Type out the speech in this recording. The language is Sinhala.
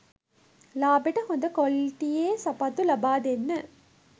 ලාබෙට හොඳ කොලිටියේ සපත්තු ලබා දෙන්න.